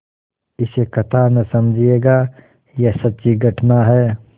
इसे कथा न समझिएगा यह सच्ची घटना है